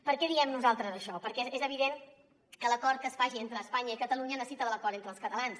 per què diem nosaltres això perquè és evident que l’acord que es faci entre espanya i catalunya necessita de l’acord entre els catalans